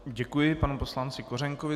Děkuji panu poslanci Kořenkovi.